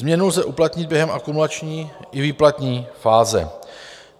Změnu lze uplatnit během akumulační i výplatní fáze.